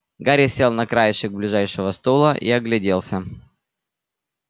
гарри сел на краешек ближайшего стула и огляделся